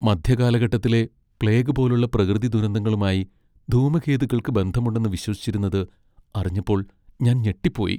മധ്യകാലഘട്ടത്തിലെ plague പോലുള്ള പ്രകൃതി ദുരന്തങ്ങളുമായി ധൂമകേതുക്കൾക്ക് ബന്ധമുണ്ടെന്ന് വിശ്വസിച്ചിരുന്നത് അറിഞ്ഞപ്പോൾ ഞാൻ ഞെട്ടിപ്പോയി.